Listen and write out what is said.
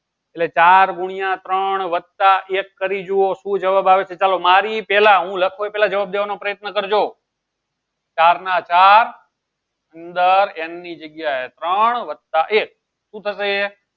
એટલે ચાર ગુણ્યા ત્રણ વત્તા એક કરી જુઓ શું જવાબ આવે છે ચાલો મારી પહેલા હું લખું એ પેલા જવાબ દેવાનો પ્રયત્ન કરજો ચાર ના ચાર અંદર n ની જગ્યાએ ત્રોણ વત્તા એક શું થશે?